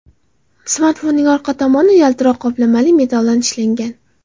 Smartfonning orqa paneli yaltiroq qoplamali metalldan ishlangan.